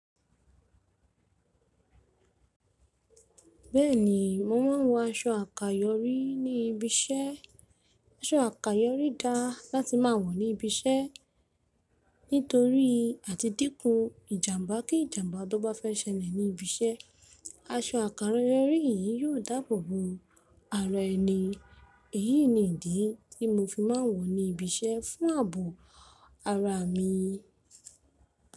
Bẹ́ẹ̀ni, mo ma ń wọ aṣọ àkàyọ́rí ní ibi iṣẹ́. Aṣọ àkàyọ́rí da láti máa wọ̀ ní ibi iṣẹ́. Nítorí àti dínkù ìjàmbá, kí ìjàmbá tó bá fẹ́ ṣẹlẹ̀ ní ibi iṣẹ́, aṣọ àkàyọ́rí yìí yóò dáàbò bo ara ẹni. Èyí nìdí tí mo fi máa ń wọ̀ ní ibi iṣẹ́ fún ààbò ara mi.